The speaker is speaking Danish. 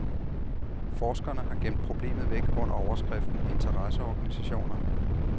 Forskerne har gemt problemet væk under overskriften interesseorganisationer.